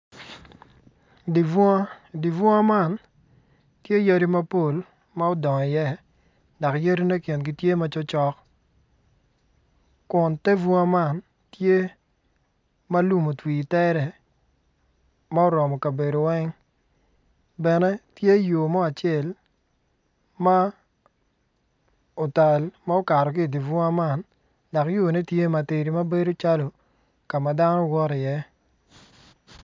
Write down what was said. Di bunga di bunga man tye yadi mapol ma odongo iye dok yadine kingi tye macok cok kun te bunga man tye ma lum otwi itere ma oromo kabedo weng bene tye yo mo acel ma otal ma okato ki idi bunga man dok yone tye matidi ma bedo calo ka ma dano woto iye.